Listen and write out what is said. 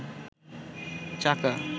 চাকা